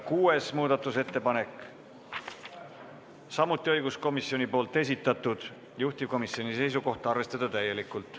Kuues muudatusettepanek, samuti õiguskomisjoni esitatud, juhtivkomisjoni seisukoht: arvestada täielikult.